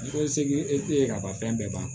Ko seki e te ye kaban fɛn bɛɛ ban